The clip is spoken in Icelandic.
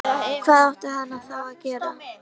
Hvað átti hann þá að gera?